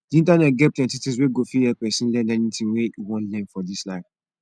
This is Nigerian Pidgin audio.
di internet get plenty things wey go fit help pesin learn anything wey e wan learn for dis life